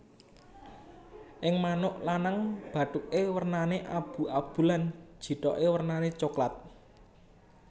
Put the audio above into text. Ing manuk lanang bathuke wernane abu abu lan jithoke wernane coklat